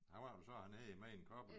Hvad var det så han hed mere end Koppel